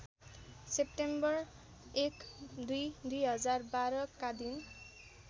September १२ २०१२ का दिन